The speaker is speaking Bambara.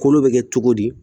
Kolo bɛ kɛ cogo di